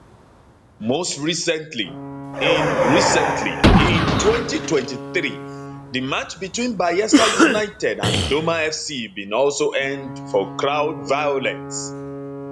most recently in recently in 2023 di match between bayelsa united and doma fc bin also end for crowd violence